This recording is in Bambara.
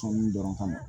Sɔnni dɔrɔn ka na